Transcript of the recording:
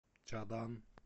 чадан